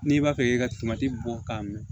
N'i b'a fɛ k'i ka bɔ k'a minɛ